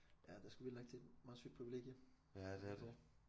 Ja det er sgu vildt nok det er et meget sygt privilegium de får